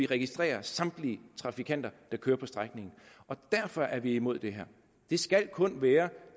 registrerer samtlige trafikanter der kører på strækningen derfor er vi imod det her det skal kun være